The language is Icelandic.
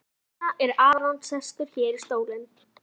Og þess vegna er Aron sestur hérna í stólinn?